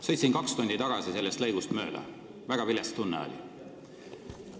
Sõitsin kaks tundi tagasi sellest kohast mööda, väga vilets tunne oli.